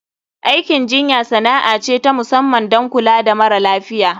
Aikin jinya sana'a ce ta musamman don kula da mara lafiya.